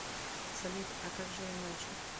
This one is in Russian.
салют а как же иначе